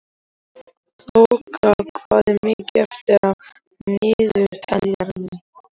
Þoka, hvað er mikið eftir af niðurteljaranum?